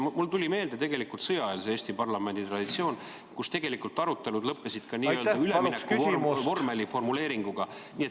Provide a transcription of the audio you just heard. Mulle tuli meelde sõjaeelse Eesti parlamendi traditsioon, mille korral arutelud lõppesid n-ö üleminekuvormeli formuleeringuga.